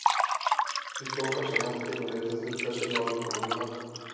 Hún tók af sér hattinn og reyndi að þurrka af sér málninguna með handleggnum.